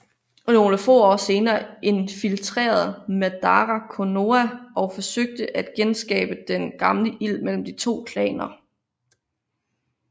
Nogle få år senere indfiltrerede Madara Konoha og forsøgte at genskabe den gamle ild mellem de to klaner